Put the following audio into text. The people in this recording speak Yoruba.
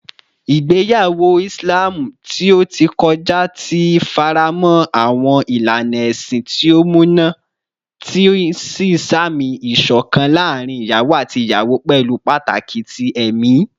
Igbeyawo Islam ti o ti kọja ti faramọ awọn ilana ẹsin ti o muna, ti n samisi iṣọkan laarin iyawo ati iyawo pẹlu pataki ti ẹmi.